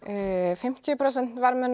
fimmtíu prósent verðmunur